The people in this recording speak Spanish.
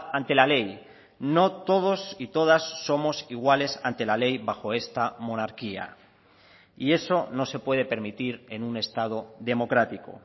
ante la ley no todos y todas somos iguales ante la ley bajo esta monarquía y eso no se puede permitir en un estado democrático